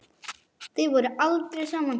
Þið voruð aldrei saman.